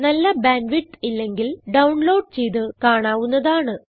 നല്ല bandwidth ഇല്ലെങ്കിൽ download ചെയ്ത് കാണാവുന്നതാണ്